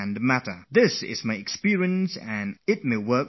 This is my experience and it might be of help to you as well